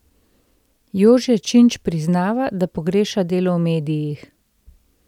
Jože Činč priznava, da pogreša delo v medijih.